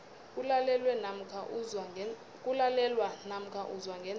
kulalelwa namkha uzwa ngendlebe